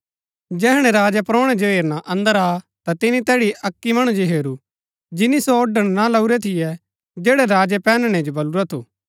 जैहणै राजा परौणै जो हेरना अन्दर आ ता तिनी तैड़ी अक्की मणु जो हेरू जिनी सो ओड़ण ना लाऊरै थियै जैड़ै राजै पैहननै जो बलुरा थू